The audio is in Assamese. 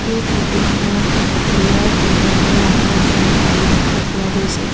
এই ফটো খনত বিয়াৰ কইনা দৰা আহা এখন গাড়ী দেখা পোৱা গৈছে।